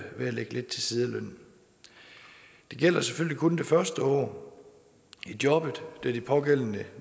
ved at lægge lidt til side af lønnen det gælder selvfølgelig kun det første år i jobbet da de pågældende det